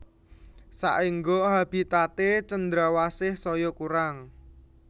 Saéngga habitaté cendrawasih saya kurang